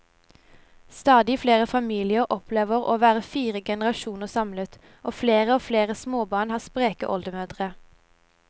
Stadig flere familier opplever å være fire generasjoner samlet, og flere og flere småbarn har spreke oldemødre.